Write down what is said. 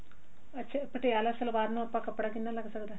ਅੱਛਾ ਪਟਿਆਲਾ ਸਲਵਾਰ ਨੂੰ ਆਪਣਾ ਕੱਪੜਾ ਕਿੰਨਾ ਲੱਗ ਸਕਦਾ